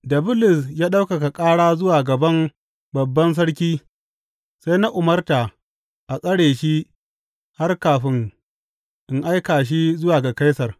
Da Bulus ya ɗaukaka ƙara zuwa gaban Babban Sarki sai na umarta a tsare shi har kafin in aika shi zuwa ga Kaisar.